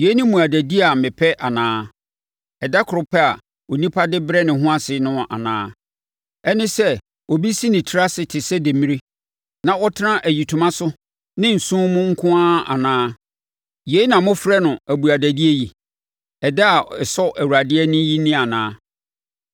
Yei ne mmuadadie a mepɛ anaa? Ɛda koro pɛ a onipa de brɛ ne ho ase no anaa? Ɛne sɛ obi si ne tiri ase te sɛ demmire na ɔtena ayitoma so ne nsõ mu nko ara anaa? Yei na mofrɛ no abuadadie yi, ɛda a ɛsɔ Awurade ani yi ni anaa?